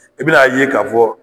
I bɛn'a ye ka fɔ